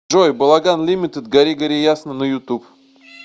джой балаган лимитед гори гори ясно на ютуб